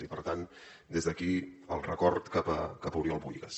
i per tant des d’aquí el record cap a oriol bohigas